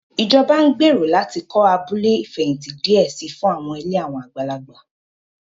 Ìjọba ń gbèrò láti kọ́ abúlé ìfẹ̀hìntì díẹ̀ si fún àwọn ilé àwọn àgbàlagbà